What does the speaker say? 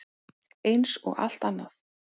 Eins og allt annað.